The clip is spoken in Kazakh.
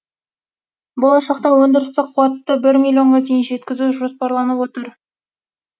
болашақта өндірістік қуатты бір миллионға дейін жеткізу жоспарланып отыр